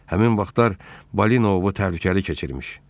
Həmin vaxtlar balina ovu təhlükəli keçirmiş.